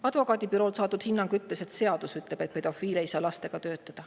Advokaadibüroolt saadud hinnangu kohaselt ütleb seadus, et pedofiil ei saa lastega töötada.